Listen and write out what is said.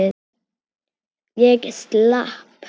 Ég slapp.